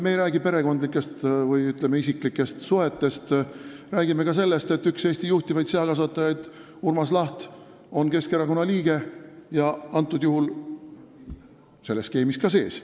Me ei räägi perekondlikest või, ütleme, isiklikest suhetest, me räägime sellest, et üks Eesti juhtivaid seakasvatajaid Urmas Laht on Keskerakonna liige ja selles skeemis sees.